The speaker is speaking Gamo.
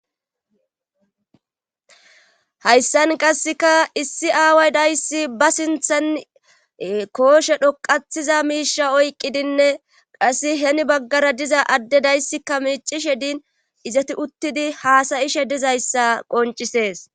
Hayssan qasseka issi aaway dayssi ba sinthan kooshe dhoqathiza miisha oyqqidinne qasse heni baggara diza adde dayssika miicishe din izati uttidi haasayishe dizayssa qoncisees.